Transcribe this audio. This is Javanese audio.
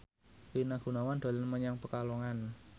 Rina Gunawan dolan menyang Pekalongan